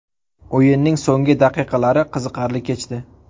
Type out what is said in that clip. o‘yinning so‘nggi daqiqalari qiziqarli kechdi.